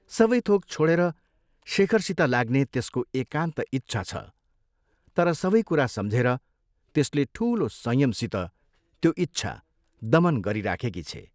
सबै थोक छोडेर शेखरसित लाग्ने त्यसको एकान्त इच्छा छ तर सबै कुरा सम्झेर त्यसले ठूलो संयमसित त्यो इच्छा दमन गरिराखेकी छे।